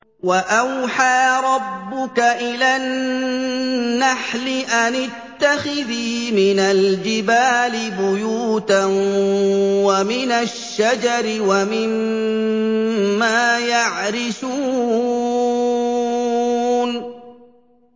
وَأَوْحَىٰ رَبُّكَ إِلَى النَّحْلِ أَنِ اتَّخِذِي مِنَ الْجِبَالِ بُيُوتًا وَمِنَ الشَّجَرِ وَمِمَّا يَعْرِشُونَ